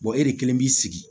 e de kelen b'i sigi